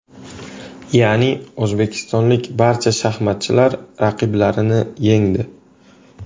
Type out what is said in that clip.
Ya’ni o‘zbekistonlik barcha shaxmatchilar raqiblarini yengdi.